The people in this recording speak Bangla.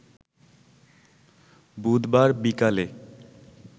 বুধবার বিকালে